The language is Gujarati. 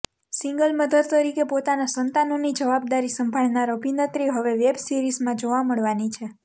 સિંગલ મધર તરીકે પોતાના સંતાનોની જવાબદારી સંભાળનાર અભિનેત્રી હવે વેબ સિરીઝમાં જોવા મળવાની છે